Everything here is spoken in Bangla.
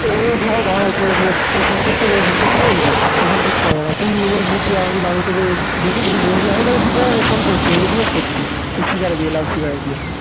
ফোন করতে তোকে ফোন করতে বলেছি তোর ফোন করতে হবে না তুই আমি তোকে দেখিনি ফোন করছে আমি জিজ্ঞাস করছি speaker এ দিয়ে loud speaker এ দিয়ে